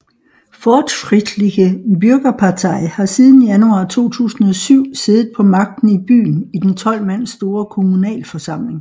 Fortschrittliche Bürgerpartei har siden januar 2007 siddet på magten i byen i den 12 mand store kommunalforsamling